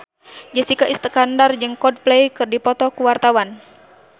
Jessica Iskandar jeung Coldplay keur dipoto ku wartawan